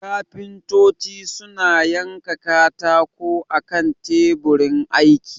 kafintocin suna yanka katako akan taburin aiki